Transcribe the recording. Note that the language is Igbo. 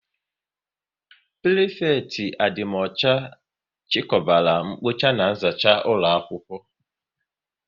Prịfekịtị adịmọcha chikọbara mkpocha na nzacha ụlọakwụkwọ